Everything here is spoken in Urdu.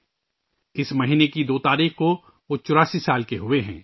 وہ اس مہینے کی 2 تاریخ کو 84 سال کے ہو ئے ہیں